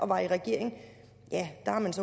var i regering